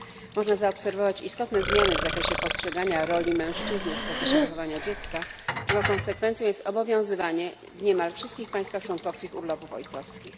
Można zaobserwować istotne zmiany w zakresie postrzegania roli mężczyzny w procesie wychowania dziecka, czego konsekwencją jest obowiązywanie w niemal wszystkich państwach członkowskich urlopów ojcowskich.